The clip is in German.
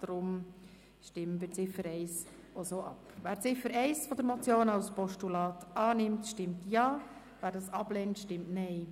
Wer die Ziffer 1 der Motion als Postulat annimmt, stimmt Ja, wer dies ablehnt, stimmt Nein.